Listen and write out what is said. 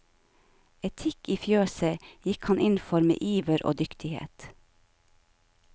Etikk i fjøset gikk han inn for med iver og dyktighet.